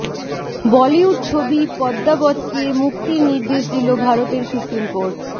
বলিউড ছবি পদ্মাবতকে মুক্তির নির্দেশ দিলো ভারতের সুপ্রিম কোর্ট